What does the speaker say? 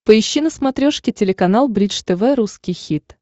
поищи на смотрешке телеканал бридж тв русский хит